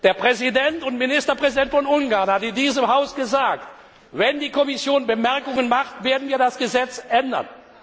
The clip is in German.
Der Präsident und Ministerpräsident von Ungarn hat in diesem Haus gesagt Wenn die Kommission Bemerkungen macht, werden wir das Gesetz